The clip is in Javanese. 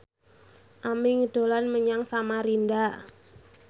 Aming dolan menyang Samarinda